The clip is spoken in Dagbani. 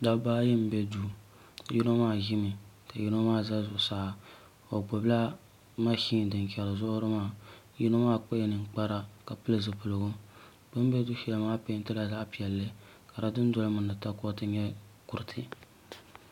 Dabba ayi n bɛ duu yino maa ʒimi ka yino maa ʒɛ zuɣusaa o gbubila mashin din chɛri zuɣuri maa yino maa kpala ninkpara ka pili zipiligu bi ni bɛ du shɛli maa peentila zaɣ piɛlli ka di dundoli mini di takoriti nyɛ kuriti